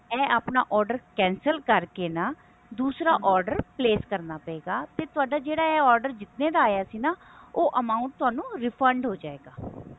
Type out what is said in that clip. ਇਹ ਆਪਣਾ order cancelਕਰਕੇ ਨਾ ਦੂਸਰਾ order ਪ੍ਲਾਕੇ ਕਰਨਾ ਪਵੇਗਾ ਤੇ ਤੁਹਾਡਾ ਜਿਹੜਾ ਇਹ order ਜਿਹੜਾ ਆਇਆ ਸੀ ਨਾ ਉਹ amount ਥੋਨੂੰ refund ਹੋਜੇਗਾ